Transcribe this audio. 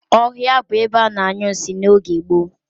Ohia bu ebe a na-anyu nsi n'oge gboo.